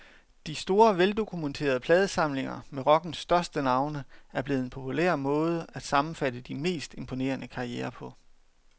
De store, veldokumenterede pladesamlinger med rockens største navne er blevet en populær måde at sammenfatte de mest imponerende karrierer på.